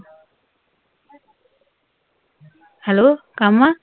Hello, Kama?